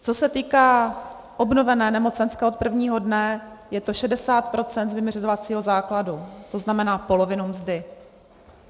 Co se týká obnovené nemocenské od prvního dne, je to 60 % z vyměřovacího základu, to znamená polovinu mzdy.